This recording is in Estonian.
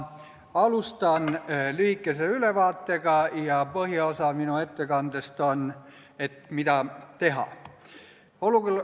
Ma alustan lühikese ülevaatega ja põhiosa minu ettekandest on sellest, mida teha.